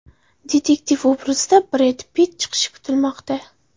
Detektiv obrazida Bred Pitt chiqishi kutilmoqda.